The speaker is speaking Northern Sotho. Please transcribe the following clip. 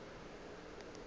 e be e le ye